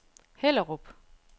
Hellerup